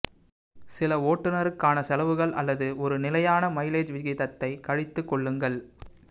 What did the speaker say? சில ஓட்டுனருக்கான செலவுகள் அல்லது ஒரு நிலையான மைலேஜ் விகிதத்தை கழித்துக்கொள்ளுங்கள்